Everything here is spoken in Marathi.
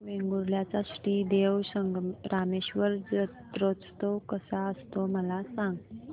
वेंगुर्ल्या चा श्री देव रामेश्वर जत्रौत्सव कसा असतो मला सांग